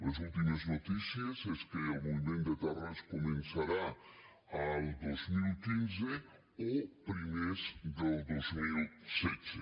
les últimes notícies és que el moviment de terres començarà el dos mil quinze o primers del dos mil setze